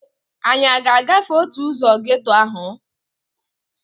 Anyị a ga-agafe otu ụzọ geeto ahụ?